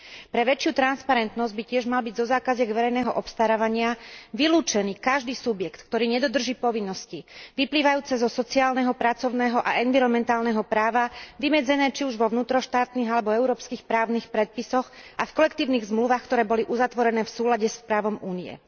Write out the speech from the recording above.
Pre väčšiu transparentnosť by tiež mal byť zo zákaziek verejného obstarávania vylúčený každý subjekt, ktorý nedodrží povinnosti vyplývajúce zo sociálneho, pracovného a environmentálneho práva vymedzené či už vo vnútroštátnych alebo európskych právnych predpisoch a v kolektívnych zmluvách, ktoré boli uzatvorené v súlade s právom Únie.